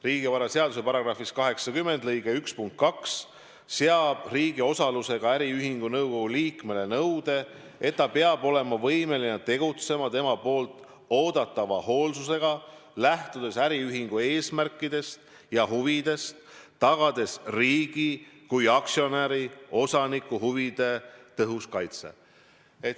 Riigivaraseaduse § 80 lõike 1 punkt 2 seab riigi osalusega äriühingu nõukogu liikmele nõude, et ta peab olema võimeline tegutsema temalt oodatava hoolsusega, lähtudes äriühingu eesmärkidest ja huvidest, tagades riigi kui aktsionäri, osaniku huvide tõhusa kaitse.